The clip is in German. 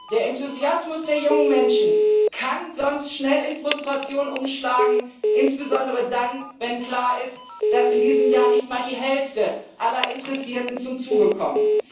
Der Enthusiasmus der jungen Menschen kann sonst schnell in Frustration umschlagen, insbesondere dann, wenn klar ist, dass in diesem Jahr nicht mal die Hälfte aller Interessierten zum Zuge kommt.